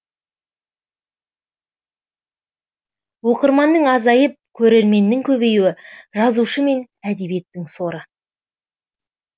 оқырманның азайып көрерменнің көбеюі жазушы мен әдебиеттің соры